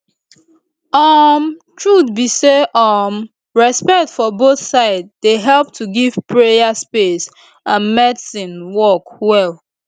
um truth be say um respect for both side dey help to give prayer space and medicine work well